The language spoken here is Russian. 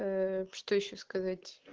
что ещё сказать